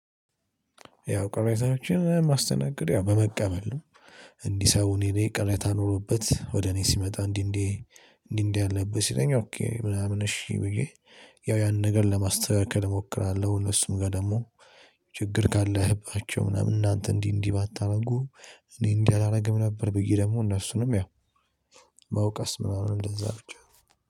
ያው ቅሬታዎችን ማስተናግድ ያው በመቀበል ነው። እንዲህ ሰው እኔ ቅሬታ ኖሮበት ወደ እኔ ሲመጣ እንዲህ እንዲህ እንዲህ እንዲህ አለብህ ሲለኝ ኦኬ ምናምን እሺ ብዬ ያው ያንን ነገር ለማስተካከል እሞክራለሁ እነሱም ጋር ደግሞ ችግር ካለህባቸው ምናምን እናንተ እንዲህ እንዲህ ባታደርጉ እኔ እንዲህ አላደርግም ነበር ብዬ ደግሞ እነሱንም ያው መውቀስ ምና እንደዛ ብቻ